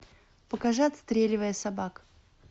покажи отстреливая собак